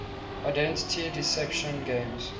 identity deception games